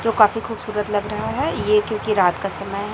जो काफी खूबसूरत लग रहा है ये क्योंकि रात का समय--